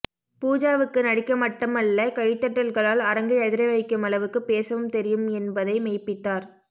பூஜாவுக்கு நடிக்க மட்டுமல்ல கைதட்டல்களால் அரங்கை அதிர வைக்குமளவுக்கு பேசவும் தெரியும் என்பதை மெய்ப்பித்தார்